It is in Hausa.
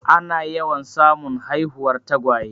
Ana yawan samun haihuwar tagwaye.